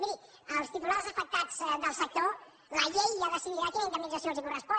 miri als titulars afectats del sector la llei ja decidirà quina indemnització els correspon